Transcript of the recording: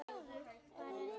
Bara eftir eyranu.